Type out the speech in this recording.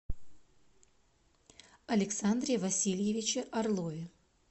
александре васильевиче орлове